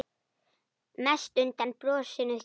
Mest undan brosinu þínu.